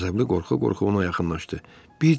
Qəzəbli qorxa-qorxa ona yaxınlaşdı.